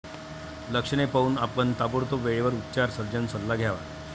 लक्षणे पाहून, आपण ताबडतोब वेळेवर उपचार सर्जन सल्ला घ्यावा.